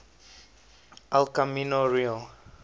el camino real